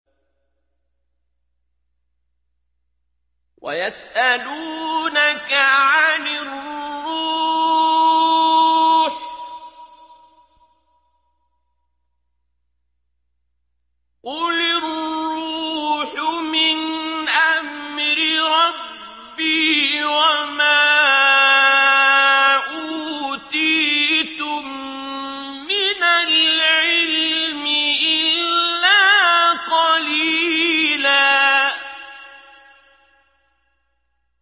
وَيَسْأَلُونَكَ عَنِ الرُّوحِ ۖ قُلِ الرُّوحُ مِنْ أَمْرِ رَبِّي وَمَا أُوتِيتُم مِّنَ الْعِلْمِ إِلَّا قَلِيلًا